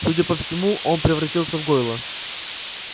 судя по всему он превратился в гойла